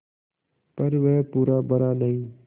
पर वह पूरा भरा नहीं